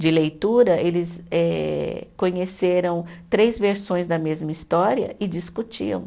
De leitura, eles eh conheceram três versões da mesma história e discutiam.